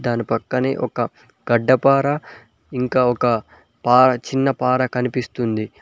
దాని పక్కనే ఒక గడ్డపార ఇంకా ఒక చిన్న పారా కనిపిస్తుంది.